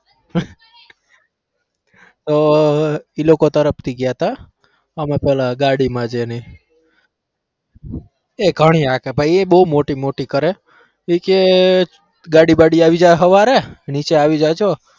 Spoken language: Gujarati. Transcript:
તો ઈ લોકો તરફથી ગયા હતા અમે પેલા ગાડીમાં જ એની એ ઘણી હાકે ભાઈ એ બહુ મોટી મોટી કરે ઈ કે ગાડી બાડી આઈ જાય હવારે નીચે આવી જાજો.